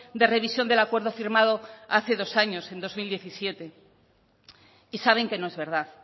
de revisión del acuerdo firmado hace dos años en dos mil diecisiete y saben que no es verdad